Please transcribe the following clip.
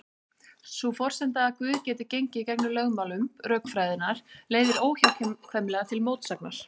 Sú forsenda að Guð geti gengið gegn lögmálum rökfræðinnar leiðir óhjákvæmilega til mótsagnar.